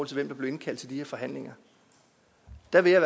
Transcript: til hvem der blev indkaldt til de her forhandlinger der vil jeg